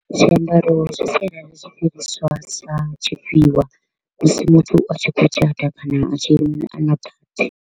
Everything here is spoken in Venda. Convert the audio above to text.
Zwiambaro zwi sialala zwi sa tshifhiwa musi muthu a tshi kho u tshata kana a na party.